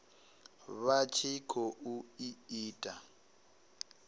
vha tshi khou i ita